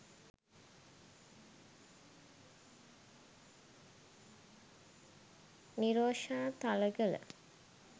nirosha thalagala